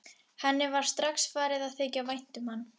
Henni var strax farið að þykja vænt um hann.